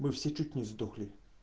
мы все чуть не сдохли